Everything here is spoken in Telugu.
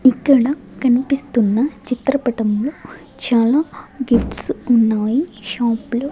ఇక్కడ కనిపిస్తున్న చిత్రపటంలొ చాలా గిఫ్ట్స్ ఉన్నాయి షాప్ లో --